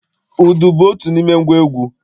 Udu bụ otu n'ime ngwa egwu.